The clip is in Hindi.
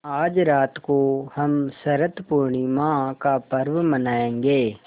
आज रात को हम शरत पूर्णिमा का पर्व मनाएँगे